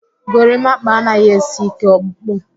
Gorimakpa anaghị esi ike ọkpụkpụ